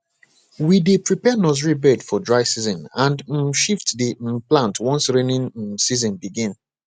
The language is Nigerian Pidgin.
we dey prepare nursery bed for dry season and um shift the um plant once rainy um season begin